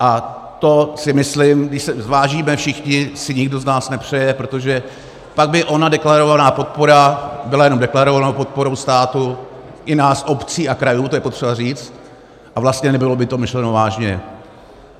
A to si myslím, když to zvážíme všichni, si nikdo z nás nepřeje, protože pak by ona deklarovaná podpora byla jenom deklarovanou podporou státu, i nás obcí a krajů, to je potřeba říct, a vlastně nebylo by to myšleno vážně.